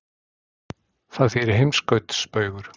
Það þýðir heimskautsbaugur.